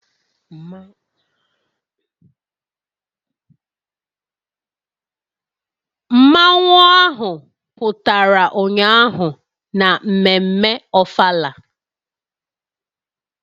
Mmanwu ahụ pụtara ụnyaahụ na mmemme ofala